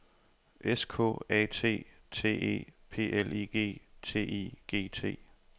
S K A T T E P L I G T I G T